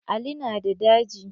Ali na da daji.